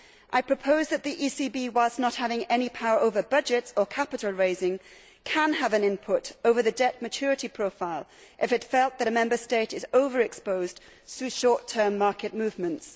I propose that the ECB, whilst not having any power over budgets or capital raising, can have an input over the debt maturity profile if it felt that a Member State is over exposed through short term market movements.